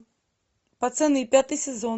пацаны пятый сезон